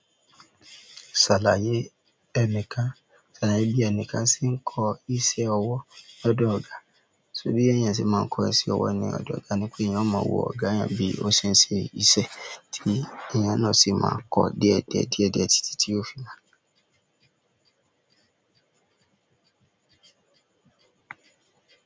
Ṣàlàyé ẹnìkan, ṣàlàyé bí ẹnìkan ṣe ń kọ iṣẹ́ ọwọ́ lọ́dọ̀ ọ̀gá. Torí bí ẹni yẹn ṣe máa ń kọ iṣẹ́ ọwọ́ ní ọ̀dọ̀ ọ̀gá ni pé èèyàn ó mọ wo ọ̀gá èèyàn bí ó ṣe ń ṣe ìṣe, tí èèyàn náà sì máa ń kọ díẹ̀ díẹ̀ díẹ̀ díẹ̀ títí tí ó fi máa.